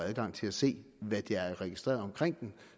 adgang til at se hvad der er registreret omkring dem